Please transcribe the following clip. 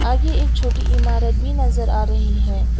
आगे एक छोटी इमारत भी नजर आ रही है।